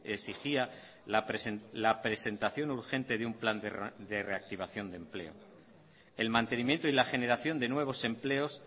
exigía la presentación urgente de un plan de reactivación de empleo el mantenimiento y la generación de nuevos empleos